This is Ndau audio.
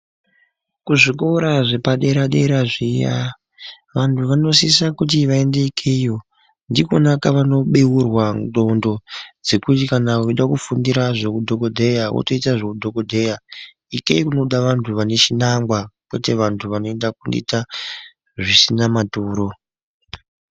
Kuzvikora zvepa dera dera zviya vanhu vanosisa kuti vaendekeyo ndiko kunaku kwavano bheurwa ngxondo zvekuti kana uchida kufundira zvehudhokoteya wotoita zvehudhogodheya ikeyi kunoda anhu vanechinangwa kwete vantu vanoenda kunoite zvisina maturo .